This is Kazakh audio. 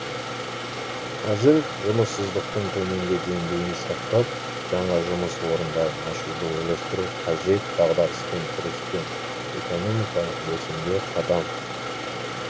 қазір жұмыссыздықтың төменгі деңгейін сақтап жаңа жұмыс орындарын ашуды ойластыру қажет дағдарыспен күрестен экономикалық өсімге қадам